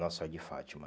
Nossa Senhora de Fátima.